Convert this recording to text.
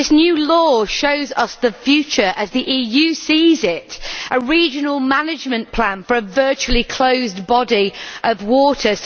This new law shows us the future as the EU sees it a regional management plan for a virtually closed body of water.